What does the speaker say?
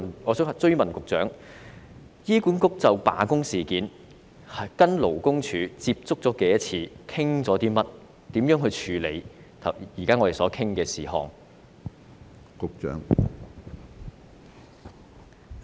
我想追問局長，醫管局就罷工事件與勞工處接觸了多少次、討論內容為何，以及會如何處理我們現時討論的事宜呢？